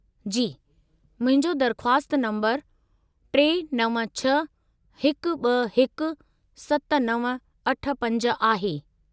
जी, मुंहिंजो दरख़्वास्त नंबरु 396-121-7985 आहे.